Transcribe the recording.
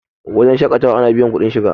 wajen shaƙatawa ana biyar kuɗin shiga